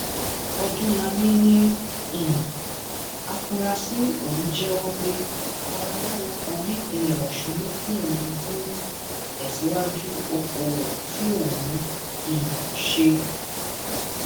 ọdúnlami ni um àfúráṣí ọhún jẹwọ pé babaláwo kan nípínlẹ ọsùn ló fún òun fún ìtẹsíwájú okòòwò tí òun ń um ṣe